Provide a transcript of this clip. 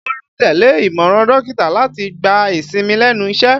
Bólú tẹ́lẹ̀ ìmọ̀ràn dókítà láti gba ìsinmi lẹ́nu iṣẹ́